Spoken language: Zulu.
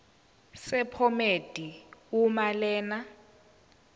sephomedi uma lena